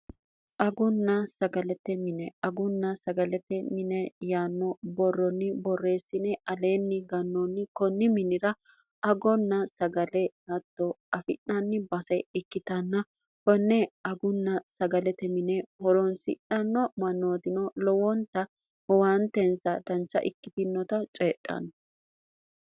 agunna sagalette mine agunna sagalete mine yaanno borronni borreessine aleenni gannoonni konni minira agonna sagale hatto afi'naanni base ikkitanna bonne agunna sagalete mine horoonsi'nanno manootino lowoonta huwaanteensa dancha ikkitinota ceedhaanno